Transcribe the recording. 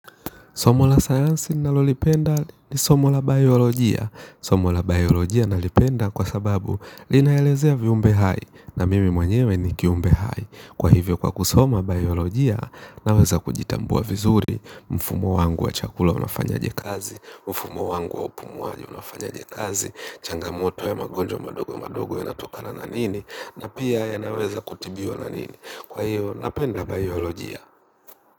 Somo la science nalolipenda ni somo la biolojia. Somo la biolojia nalipenda kwa sababu linaelezea viumbe hai. Na mimi mwenyewe ni kiumbe hai. Kwa hivyo kwa kusoma biolojia naweza kujitambua vizuri. Mfumo wangu wa chakula unafanya je kazi. Mfumo wangu wa upumu waji unafanya je kazi. Changamoto ya magonjwa madogo madogo ya natokana na nini. Na pia ya naweza kutibiwa na nini. Kwa hiyo napenda biolojia.